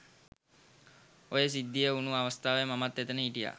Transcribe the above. ඔය සිද්ධිය වුණු අවස්ථාවේ මමත් එතැන හිටියා.